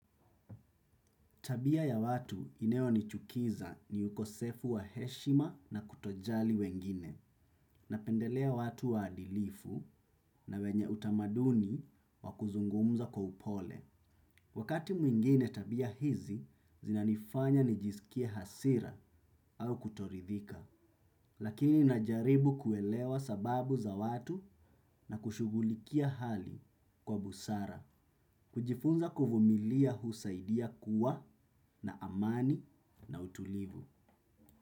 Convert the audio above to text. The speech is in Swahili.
Tabia ya watu inayonichukiza ni ukosefu wa heshima na kutojali wengine, napendelea watu waadilifu na wenye utamaduni wakuzungumza kwa upole. Wakati mwingine tabia hizi, zinanifanya nijiskie hasira au kutoridhika, lakini najaribu kuelewa sababu za watu na kushugulikia hali kwa busara. Kujifunza kuvumilia husaidia kuwa na amani na utulivu.